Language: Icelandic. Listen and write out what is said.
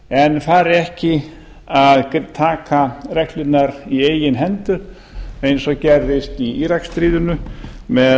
en fari ekki að taka reglurnar í eigin hendur eins og gerðist í íraksstríðinu